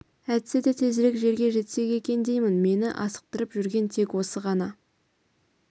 әйтсе де тезірек жерге жетсек екен деймін мені асықтырып жүрген тек осы ғана